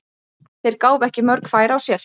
Þeir gáfu ekki mörg færi á sér.